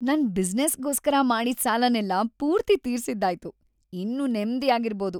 ನನ್ ಬಿಸ್ನೆಸ್‌ಗೋಸ್ಕರ ಮಾಡಿದ್‌ ಸಾಲನೆಲ್ಲ ಪೂರ್ತಿ ತೀರ್ಸಿದ್ದಾಯ್ತು, ಇನ್ನು ನೆಮ್ದಿಯಾಗಿರ್ಬೋದು.